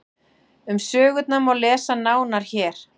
Um sögurnar má lesa nánar hér.